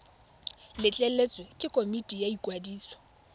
letleletswe ke komiti ya ikwadiso